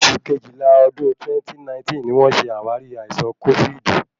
Oṣù Kejìlá ọdún 2019 ni wón ṣe àwárí àìsàn kófíìdì.